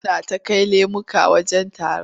Suna ta kai lemuka wajen taron.